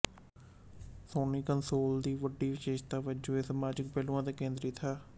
Soni console ਦੀ ਇੱਕ ਵੱਡੀ ਵਿਸ਼ੇਸ਼ਤਾ ਵਜੋਂ ਇਹ ਸਮਾਜਿਕ ਪਹਿਲੂਆਂ ਤੇ ਕੇਂਦ੍ਰਿਤ ਹੈ